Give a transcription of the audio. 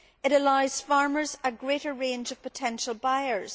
It allows farmers a greater range of potential buyers.